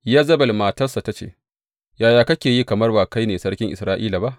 Yezebel matarsa ta ce, Yaya kake yi kamar ba kai ne sarki Isra’ila ba?